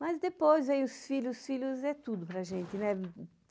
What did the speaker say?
Mas depois, aí os filhos, os filhos é tudo para a gente, né?